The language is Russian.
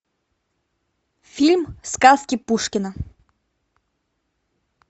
фильм сказки пушкина